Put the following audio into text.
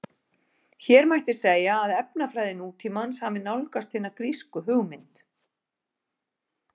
Hér mætti segja að efnafræði nútímans hafi nálgast hina grísku hugmynd.